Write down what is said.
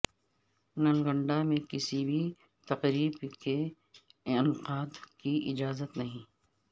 نلگنڈہ میں کسی بھی تقریب کے انعقاد کی اجازت نہیں